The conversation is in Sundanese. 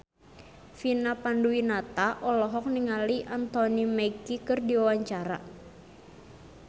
Vina Panduwinata olohok ningali Anthony Mackie keur diwawancara